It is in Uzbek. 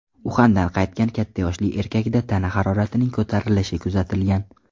Uxandan qaytgan katta yoshli erkakda tana haroratining ko‘tarilishi kuzatilgan.